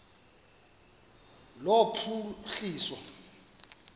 lophuhliso